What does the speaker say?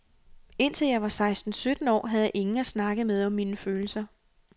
Indtil jeg var seksten sytten år, havde jeg ingen at snakke med om mine følelser.